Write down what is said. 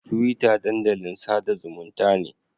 Twitter dandalin sada zumunta ne.